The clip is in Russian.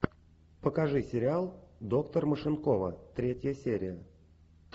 покажи сериал доктор машинкова третья серия